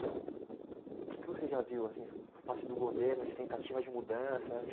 O que você já viu, assim, por parte do governo de tentativa de mudança?